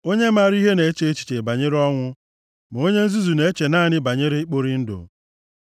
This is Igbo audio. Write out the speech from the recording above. Onye maara ihe na-eche echiche banyere ọnwụ, ma onye nzuzu na-eche naanị banyere ikpori ndụ.